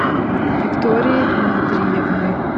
виктории дмитриевны